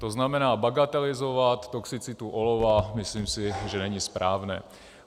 To znamená, bagatelizovat toxicitu olova, si myslím, že není správné.